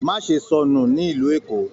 Má ṣe sọnù nílu Èkó!